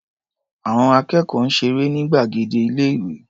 Àọn akẹ́kọ̀ọ́ ń ṣeré ní gbàgede ilé-ìé.